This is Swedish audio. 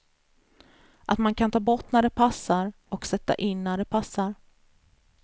Att man kan ta bort när det passar, och sätta in när det passar.